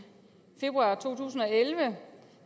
februar 2011